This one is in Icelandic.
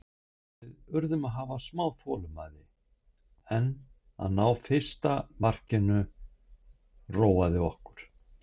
Við urðum að hafa smá þolinmæði en að ná fyrsta markinu róaði okkur.